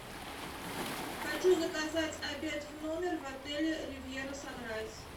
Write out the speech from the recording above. хочу заказать обед в номер в отеле ривьера санрайз